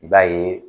I b'a ye